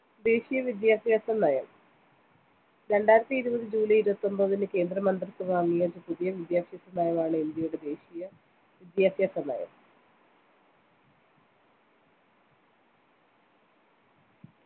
ദേശീയ വിദ്യാഭ്യാസനയം രണ്ടായിരത്തിഇരുപത് july ഇരുപത്തിയൊമ്പതിന് കേന്ദ്ര മന്ത്രിസഭ അംഗീകരിച്ച പുതിയ വിദ്യാഭ്യാസനയമാണ് ഇന്ത്യയുടെ ദേശീയ വിദ്യാഭ്യാസ നയം